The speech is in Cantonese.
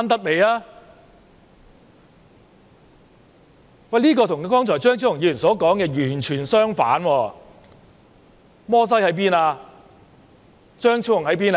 "這與張超雄議員剛才說的完全相反，摩西在哪裏？